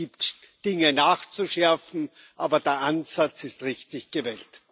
Es gibt Dinge nachzuschärfen, aber der Ansatz ist richtig gewählt.